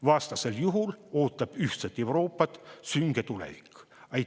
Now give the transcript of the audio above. Vastasel juhul ootab ühtset Euroopat sünge tulevik.